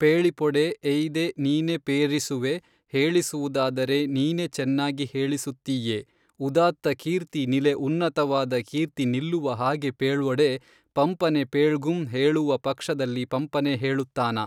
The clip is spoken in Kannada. ಪೇೞಿಪೊಡೆ ಎಯ್ದೆ ನೀನೆ ಪೇಱಿಸುವೆ ಹೇಳಿಸುವುದಾದರೆ ನೀನೆ ಚೆನ್ನಾಗಿ ಹೇಳಿಸುತ್ತೀಯೆ ಉದಾತ್ತ ಕೀರ್ತಿ ನಿಲೆ ಉನ್ನತವಾದ ಕೀರ್ತಿ ನಿಲ್ಲುವ ಹಾಗೆ ಪೇೞ್ವೊಡೆ ಪಂಪನೆ ಪೇೞ್ಗುಂ ಹೇಳುವ ಪಕ್ಷದಲ್ಲಿ ಪಂಪನೆ ಹೇಳುತ್ತಾನ